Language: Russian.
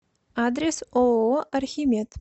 адрес ооо архимед